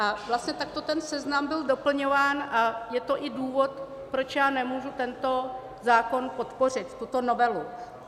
A vlastně takto ten seznam byl doplňován a je to i důvod, proč já nemůžu tento zákon podpořit, tuto novelu.